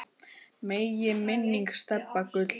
Megi minning Stebba Gull lifa.